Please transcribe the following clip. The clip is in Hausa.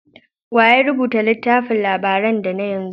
Wa ya rubuta littafin labaran da da na yanzu?